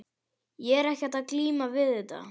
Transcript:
Ég var ekkert að glíma við þetta.